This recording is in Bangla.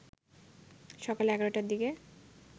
সকাল ১১টার দিকে